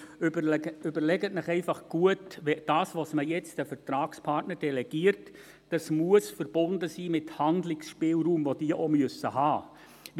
Überlegen Sie sich einfach gut: Das, was man jetzt an die Vertragspartner delegiert, muss verbunden sein mit Handlungsspielraum, den sie auch haben müssen.